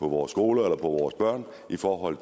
vores skoler eller vores børn for at